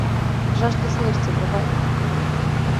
жажда смерти врубай